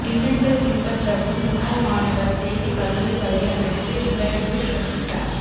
மின்னஞ்சல் பின்பற்றவும் முன்னாள் மாணவர் செய்தி கல்லூரி வலையமைப்பு நிகழ்வு சந்தித்தார்